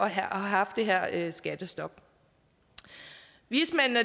at have haft det her skattestop vismændene